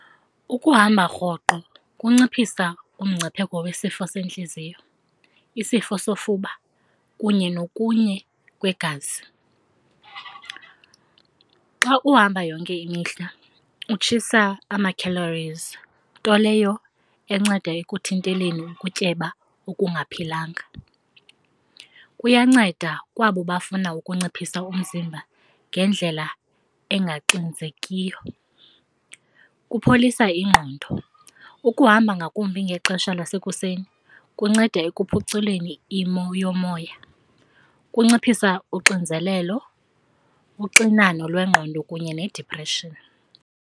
Ukuhamba rhoqo kunciphisa umngcipheko wesifo sentliziyo, isifo sofuba kunye nokunye kwegazi. Xa uhamba yonke imihla utshisa ama-callories, nto leyo enceda ekuthinteleni ukutyeba okungaphilanga. Kuyanceda kwabo bafuna ukunciphisa umzimba ngendlela engaxinzekiyo, kupholisa ingqondo. Ukuhamba ngakumbi ngexesha lasekuseni kunceda ekuphuculeni imo yomoya, kunciphisa unxinzelelo, uxinano lwengqondo kunye needipreshini.